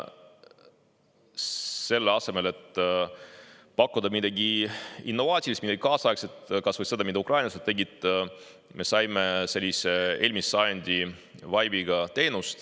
Selle asemel, et pakkuda midagi innovaatilist, midagi kaasaegset, kas või seda, mida ukrainlased tegid, me saime sellise eelmise sajandi vaibiga teenuse.